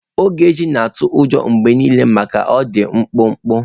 Ogechi na-atụ ụjọ mgbe niile maka na ọ dị mkpụmkpụ.